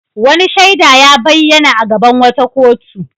Wani shaida ya bayyana a gaban wata kotu.